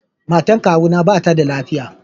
Matan kawu na ba ta da lafiya.